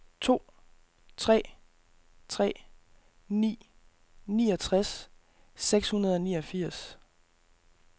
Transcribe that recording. to tre tre ni niogtres seks hundrede og niogfirs